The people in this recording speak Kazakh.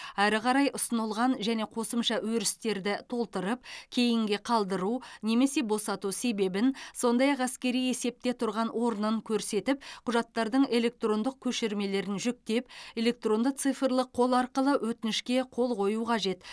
әрі қарай ұсынылған және қосымша өрістерді толтырып кейінге қалдыру немесе босату себебін сондай ақ әскери есепте тұрған орнын көрсетіп құжаттардың электрондық көшірмелерін жүктеп электронды цифрлық қол арқылы өтінішке қол қою қажет